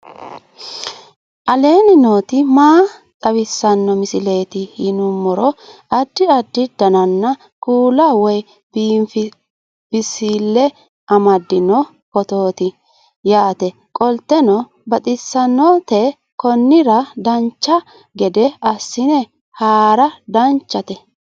aleenni nooti maa xawisanno misileeti yinummoro addi addi dananna kuula woy biinsille amaddino footooti yaate qoltenno baxissannote konnira dancha gede assine haara danchate